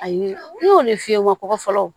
Ayi ne y'o de fiyɛ n ma kɔgɔ fɔlɔ